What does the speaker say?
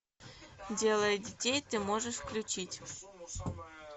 делая детей ты можешь включить